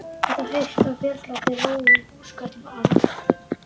Þetta haust var Björn látinn róa með húskörlum Orms.